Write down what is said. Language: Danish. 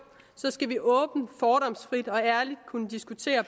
skal vi åbent fordomsfrit og ærligt kunne diskutere